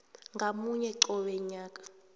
ngamunye qobe mnyaka